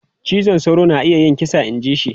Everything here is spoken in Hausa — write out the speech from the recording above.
Cizon sauro na iya yin kisa inji shi.